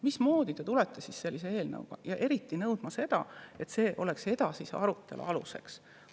Mismoodi te siis tulete sellise eelnõuga ja nõuate, et see oleks edasise arutelu aluseks?